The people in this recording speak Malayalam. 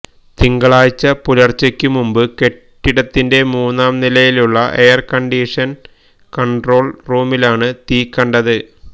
തിങ്കളാഴ്ച പുലര്ച്ചയ്ക്കു മുമ്പ് കെട്ടിടത്തിന്റെ മൂന്നാം നിലയിലുള്ള എയര് കണ്ടീഷന് കണ്ട്രോള് റൂമിലാണ് തീ കണ്ടത്